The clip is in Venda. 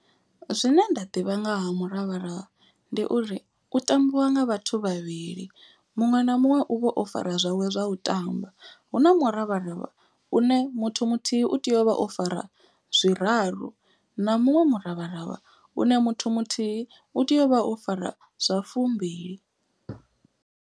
Zwine nda ḓivha nga ha muravharavha ndi uri u tambiwa nga vhathu vhavhili. Muṅwe na muṅwe u vha o fara zwawe zwa u tamba. Hu na muravharavha une muthu muthihi u tea u vha o fara zwiraru. Na muṅwe muravharavha une muthu muthihi u tea u vha o fara zwa fumbili.